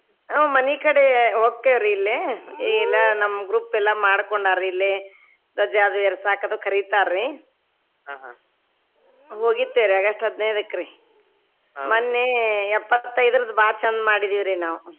ಹು ಮನಿ ಕಡೆ ಹೋಕ್ಕೇವ್ರ ಇಲ್ಲೇ ಎಲ್ಲಾ ನಮ್ group ಎಲ್ಲ ಮಾಡಿಕೊಂಡಾರಿ ಇಲ್ಲೆ ಧ್ವಜ ಅದು ಎರಸಾಕ ಅದು ಕರಿತಾರಿ ಹೋಗಿರತೆವ್ರೀ August ಹದಿನೈದಕ್ರಿ ಮನ್ನೆ ಎಪ್ಪತೈದ್ರುದ್ ಬಾಳ್ ಚಂದ್ ಮಾಡಿದ್ವಿರಿ ನಾವ್.